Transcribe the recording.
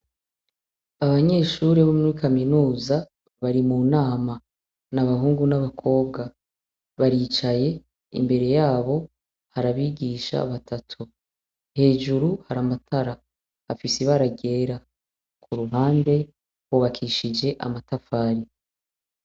Abanyeshure bo muri kaminuza bari mu nama, ni abahungu n'abakobwa. Baricaye, imbere yabo hari abigisha batatu. Hejuru hari amatara afise ibara ryera, ku ruhande hubakishije amatafari.